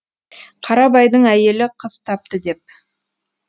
қарабайдың әйелі қыз тапты деп